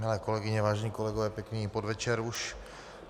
Milé kolegyně, vážení kolegové, pěkný podvečer už.